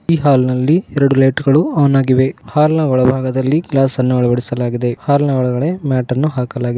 ಈ ಹಾಲ್ ನಲ್ಲಿ ಎರಡು ಲೈಟ್ ಗಳು ಆನ್ ಆಗಿವೆ ಹಾಲ್ ಒಳಭಾಗದಲ್ಲಿ ಗ್ಯಾಸನ್ನು ಅಳವಡಿಸಲಾಗಿದೆ ಹಾಲ್ ನ ಒಳಗಡೆ ಮ್ಯಾಟನ್ನು ಹಾಕಲಾಗಿದೆ.